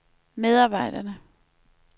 medarbejderne